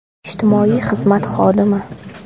Ijtimoiy xizmat xodimi.